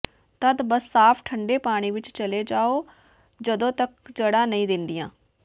ਤਦ ਬਸ ਸਾਫ਼ ਠੰਢੇ ਪਾਣੀ ਵਿੱਚ ਚਲੇ ਜਾਓ ਜਦੋਂ ਤੱਕ ਜੜ੍ਹਾਂ ਨਹੀਂ ਦਿੱਦੀਆਂ